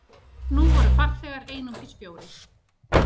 Nú voru farþegar einungis fjórir.